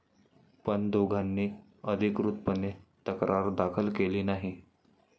पण दोघांनी अधिकृतपणे तक्रार दाखल केली नाही.